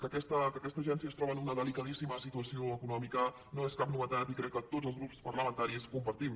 que aquesta agència es troba en una delicadíssima situació econòmica no és cap novetat i crec que tots els grups parlamentaris ho compartim